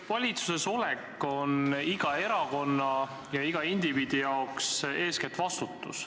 Valitsuses olemine on iga erakonna ja iga indiviidi jaoks eestkätt vastutus.